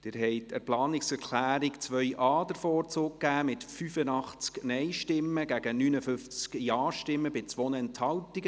Sie haben der Planungserklärung 2.a den Vorzug gegeben mit 85 Nein- gegen 59 JaStimmen bei 2 Enthaltungen.